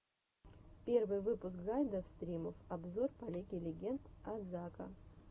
первый выпуск гайдов стримов обзоров по лиге легенд от зака